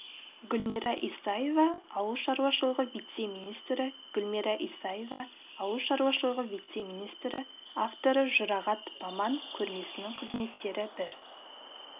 гүлмира исаева ауыл шаруашылығы вице-министрі гүлмира исаева ауыл шаруашылығы вице-министрі авторы жұрағат баман көрмесінің кереметтері бір